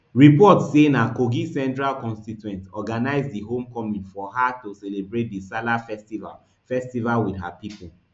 reports say na kogi central constituents organise di homecoming for her to celebrate di salah festival festival wit her pipo